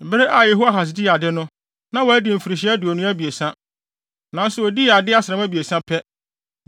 Bere a Yehoahas dii ade no, na wadi mfirihyia aduonu abiɛsa, nanso odii ade asram abiɛsa pɛ.